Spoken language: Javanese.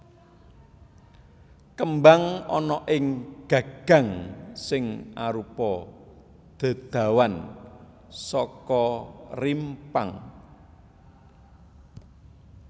Kembang ana ing gagang sing arupa dedawan saka rimpang